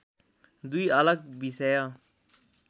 दुई अलग विषय